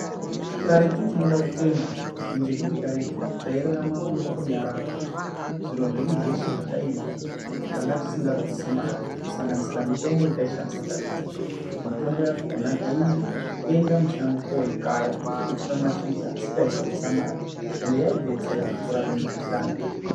Karetu tinoda kutenda ngekuti karetu tairarama murunyararo. Zviro zveshe zvataida tanga tisingabvisi mari, kusanganisira mitombo yataishandisa. Mitombo yakona taienda mushango koikaya, totore mashizha asi taisabvisa mari, ende yaibetsera kurape mikuhlani.